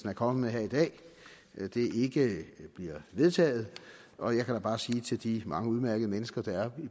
er kommet med her i dag ikke bliver vedtaget og jeg kan da bare sige til de mange udmærkede mennesker der er